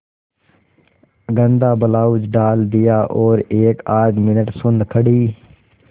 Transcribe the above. गंदा ब्लाउज डाल दिया और एकआध मिनट सुन्न खड़ी